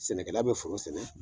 Sɛnɛkɛla bɛ foro sɛnɛ.